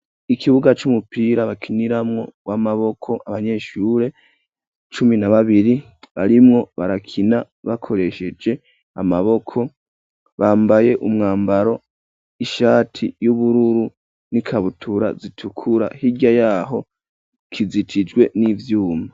Ikibuga c'umupira bakiniramwo uw'amaboko abanyeshure cumi na babiri arimwo barakina bakoresheje amaboko bambaye umwambaro ishati y'ubururu n'ikabutura zitukura higya yaho kizitijwe n'ivyuma.